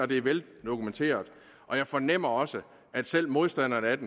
det er veldokumenteret og jeg fornemmer også at selv modstanderne af det